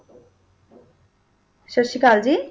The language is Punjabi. ਸਤਿ ਸ੍ਰੀ ਅਕਾਲ ਜੀ